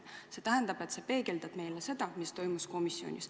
See tähendab, et sa peegeldad meile seda, mis toimus komisjonis.